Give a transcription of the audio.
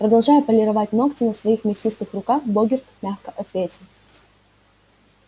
продолжая полировать ногти на своих мясистых руках богерт мягко ответил